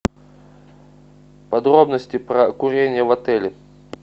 подробности про курение в отеле